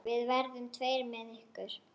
Við verðum tveir með ykkur.